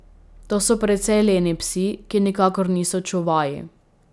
To so precej leni psi, ki nikakor niso čuvaji.